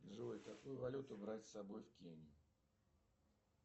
джой какую валюту брать собой в кению